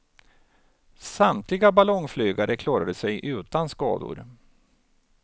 Samtliga ballongflygare klarade sig utan skador.